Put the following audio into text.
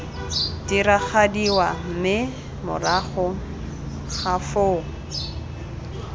diragadiwa mme morago ga foo